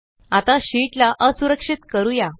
आता शीट ला असुरक्षित करूया